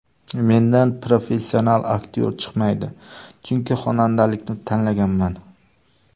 Mendan professional aktyor chiqmaydi, chunki xonandalikni tanlaganman.